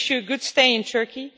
We wish you a good stay in Turkey.